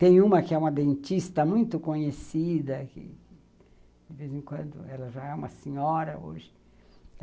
Tem uma que é uma dentista muito conhecida que, de vez em quando, ela já é uma senhora hoje.